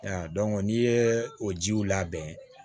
n'i ye o jiw labɛn